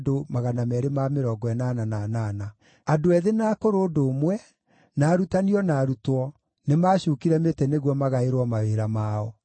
Andũ ethĩ na akũrũ ũndũ ũmwe, na arutani o na arutwo, nĩmacuukire mĩtĩ nĩguo magaĩrwo mawĩra mao.